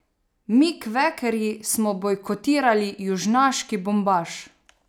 Mi kvekerji smo bojkotirali južnjaški bombaž.